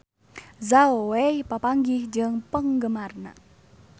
Zhao Wei papanggih jeung penggemarna